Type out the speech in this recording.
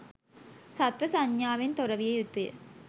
සත්ව සංඥාාවෙන් තොර විය යුතුය.